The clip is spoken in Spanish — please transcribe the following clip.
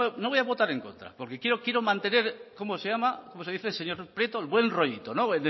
no voy a votar en contra porque quiero mantener cómo se llama cómo se dice señor prieto el buen rollito